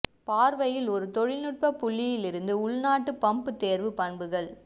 பார்வையில் ஒரு தொழில்நுட்ப புள்ளியில் இருந்து உள்நாட்டு பம்ப் தேர்வு பண்புகள்